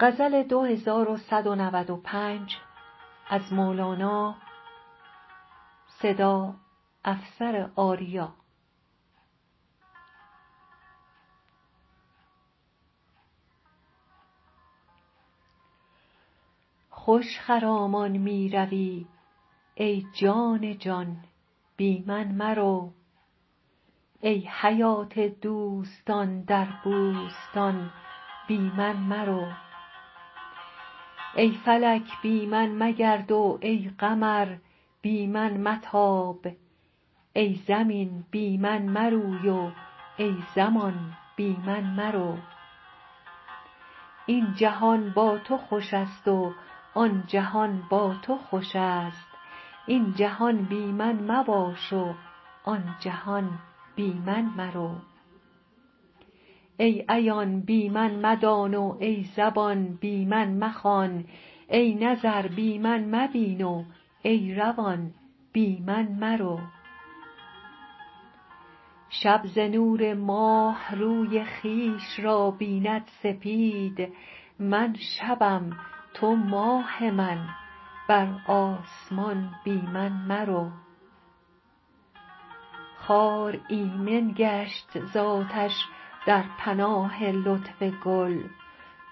خوش خرامان می روی ای جان جان بی من مرو ای حیات دوستان در بوستان بی من مرو ای فلک بی من مگرد و ای قمر بی من متاب ای زمین بی من مروی و ای زمان بی من مرو این جهان با تو خوش است و آن جهان با تو خوش است این جهان بی من مباش و آن جهان بی من مرو ای عیان بی من مدان و ای زبان بی من مخوان ای نظر بی من مبین و ای روان بی من مرو شب ز نور ماه روی خویش را بیند سپید من شبم تو ماه من بر آسمان بی من مرو خار ایمن گشت ز آتش در پناه لطف گل